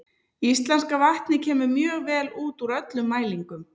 Íslenska vatnið kemur mjög vel út úr öllum mælingum.